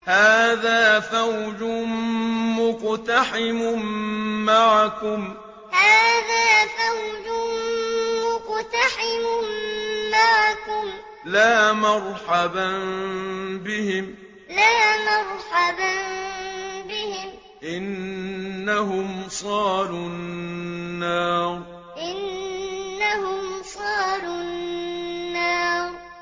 هَٰذَا فَوْجٌ مُّقْتَحِمٌ مَّعَكُمْ ۖ لَا مَرْحَبًا بِهِمْ ۚ إِنَّهُمْ صَالُو النَّارِ هَٰذَا فَوْجٌ مُّقْتَحِمٌ مَّعَكُمْ ۖ لَا مَرْحَبًا بِهِمْ ۚ إِنَّهُمْ صَالُو النَّارِ